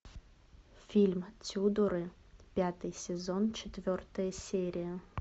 фильм тюдоры пятый сезон четвертая серия